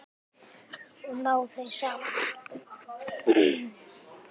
Og ná þeir saman?